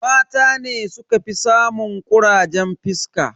Mata ne sukafi samun kurajen fuska.